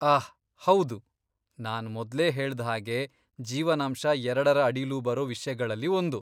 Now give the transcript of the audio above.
ಆಹ್ ಹೌದು, ನಾನ್ ಮೊದ್ಲೇ ಹೇಳ್ದ್ ಹಾಗೆ, ಜೀವನಾಂಶ ಎರಡರ ಅಡಿಲೂ ಬರೋ ವಿಷ್ಯಗಳಲ್ಲಿ ಒಂದು.